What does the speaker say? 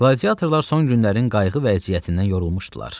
Qladiatorlar son günlərin qayğı vəziyyətindən yorulmuşdular.